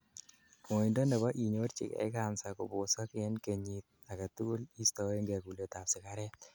ngoindo nebo inyorjigei cancer kobosok en kenyot agetugul istoengei kulet ab sigaret